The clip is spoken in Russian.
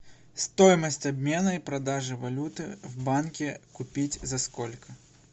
стоимость обмена и продажи валюты в банке купить за сколько